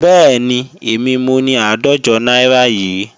Bẹ́ẹ̀ni, èmi mo ni àádọ́jọ náírà yìí.